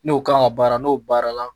N'o kan ka baara n'o baara la